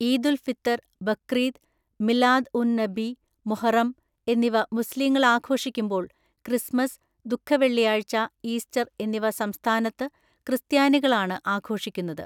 ഈദുൽ ഫിത്തർ, ബക്രീദ്, മിലാദ് ഉൻ നബി, മുഹറം എന്നിവ മുസ്ലീങ്ങൾ ആഘോഷിക്കുമ്പോൾ ക്രിസ്മസ്, ദുഃഖവെള്ളിയാഴ്ച, ഈസ്റ്റർ എന്നിവ സംസ്ഥാനത്ത് ക്രിസ്ത്യാനികളാണ് ആഘോഷിക്കുന്നത്.